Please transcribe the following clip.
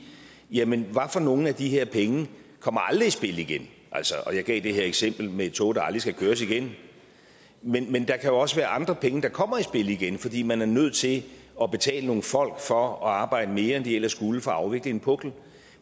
jamen hvad for nogle af de her penge kommer aldrig i spil igen og jeg gav det her eksempel med et tog der aldrig skal køres igen men men der kan også være andre penge der kommer i spil igen fordi man er nødt til at betale nogle folk for at arbejde mere end de ellers skulle for at afvikle en pukkel